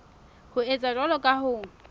ho etsa jwalo ho ka